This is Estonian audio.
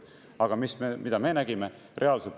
Aga mida me nägime?